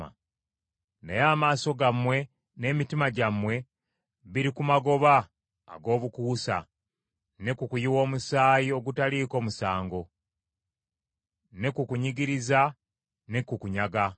“Naye amaaso gammwe n’emitima gyammwe biri ku magoba ag’obukuusa, ne ku kuyiwa omusaayi ogutaliiko musango ne ku kunyigiriza ne ku kunyaga.”